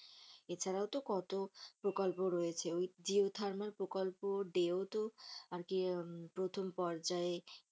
এছাড়াও তো কত প্রকল্প রয়েছে, ওই জিও থারমাল প্রকল্প ডেও তো আরকি প্রথম পর্যায়ে।